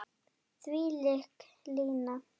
Þvílík lína.